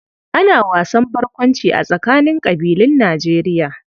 Ana wasan barkwanci a tsakanin ƙabilun Nijerya